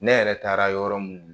Ne yɛrɛ taara yɔrɔ mun